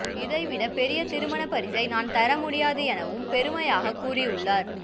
இதை விட பெரிய திருமணப் பரிசை நான் தரமுடியாது எனவும் பெருமையாக கூறியுள்ளார்